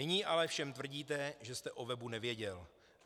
Nyní ale všem tvrdíte, že jste o webu nevěděl.